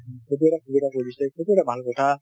সেইটো এটা সুবিধা কৰি দিছে সেইটো এটা ভাল কথা।